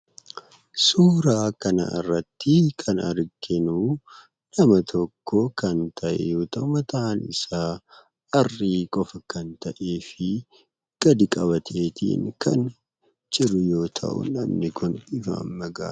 Suuraa kanarratti kan arginu nama tokko kan ta'e yoo ta'u, mataansaa harrii qofaa kan ta'ee fi gadi qabatee kan jiru yoo ta'u namni kun nama karrayyuudha.